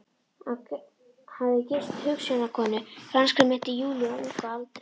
Hafði gifst hugsjónakonu, franskri minnti Júlíu, á unga aldri.